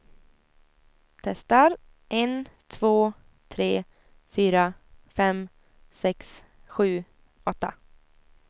Testar en två tre fyra fem sex sju åtta.